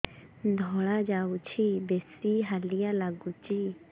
ଧଳା ଯାଉଛି ବେଶି ହାଲିଆ ଲାଗୁଚି